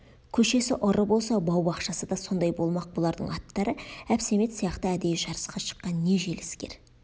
көшесі ұры болса бау-бақшасы да сондай болмақ бұлардың аттары әбсәмет сияқты әдейі жарысқа шыққан не желіскер